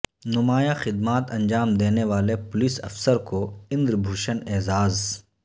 نمایا ں خدمات انجام دینے والے پولس افسر کو اندر بھوشن اعزاز